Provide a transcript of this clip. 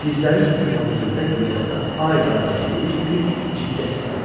Dizləri bükül-ha-büküldə güldəstə ay qardaş deyib bir cikkə çəkdi.